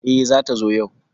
E, zata zo yau?